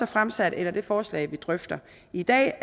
fremsat eller det forslag vi drøfter i dag